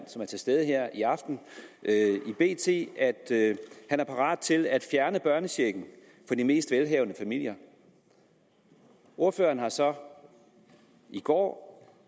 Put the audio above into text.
som er til stede her i aften i bt at han var parat til at fjerne børnechecken fra de mest velhavende familier ordføreren har så i går